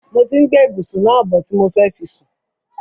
Mo ti ń gbé ìbùsún náà bọ̀ ti mo fẹ́ fi sùn.